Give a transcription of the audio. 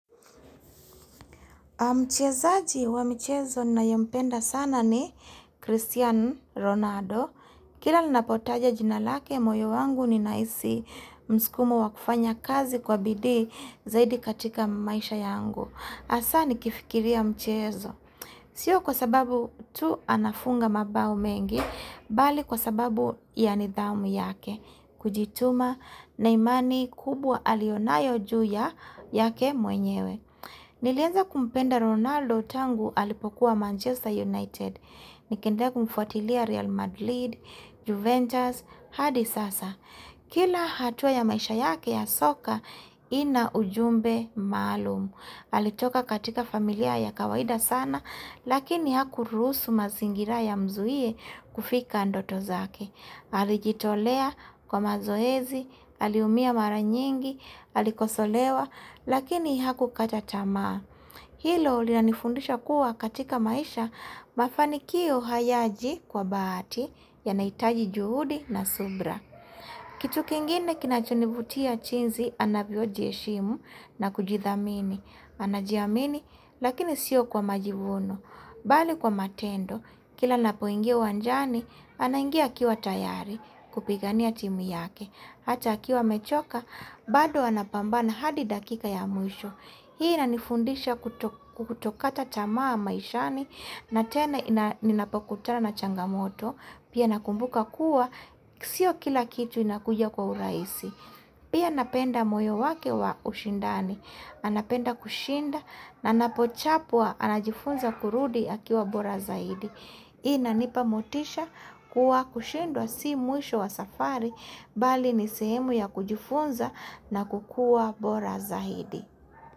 Mchezaji wa mchezo na yempenda sana ni Christian Ronaldo. Kila linapotaja jinalake moyo wangu ni naisi mskumo wa kufanya kazi kwa bidi zaidi katika maisha yangu. Asa ni kifikiria mchezo. Sio kwa sababu tu anafunga mabao mengi, bali kwa sababu yanidhaumu yake. Kujituma na imani kubwa alionayo juu ya yake mwenyewe. Nilienza kumpenda Ronaldo tangu alipokuwa Manchester United. Nikende kumfotilia Real Madrid, Juventus, hadi Sasa. Kila hatua ya maisha yake ya soka ina ujumbe maalumu. Halitoka katika familia ya kawaida sana, lakini haku rusu mazingira ya mzuie kufika andoto zake. Halijitolea kwa mazoezi, haliumia mara nyingi, halikosolewa, lakini haku katatamaa. Hilo ulina nifundisha kuwa katika maisha mafanikio hayaji kwa baati yanaitaji juhudi na subra. Kitu kingine kinachunibutia chinzi anabiojieshimu na kujithamini, anajiamini lakini sio kwa majivuno, bali kwa matendo kila napoingia wanjani anangia kiwa tayari kupigania timu yake, hata kiwa mechoka bado anapambana hadi dakika ya mwisho. Hii na nifundisha kutokata chamaa maishani na tena inapokutara na changamoto Pia nakumbuka kuwa, sio kila kitu inakuja kwa uraisi Pia napenda moyo wake wa ushindani anapenda kushinda na napochapwa anajifunza kurudi akiwa bora zaidi Hii na nipamotisha kuwa kushindwa si muisho wa safari Bali nisehemu ya kujifunza na kukua bora zaidi.